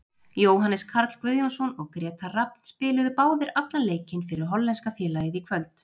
Jóhannes Karl Guðjónsson og Grétar Rafn spiluðu báðir allan leikinn fyrir hollenska félagið í kvöld.